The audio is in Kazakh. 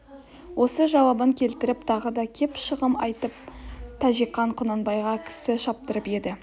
осы жауабын келтіріп тағы да кеп шағым айтып тәкежан құнанбайға кісі шаптырып еді